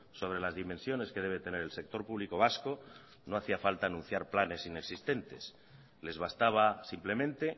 sobre las dimensiones que debe tener el sector público vasco no hacía falta anunciar planes inexistentes les bastaba simplemente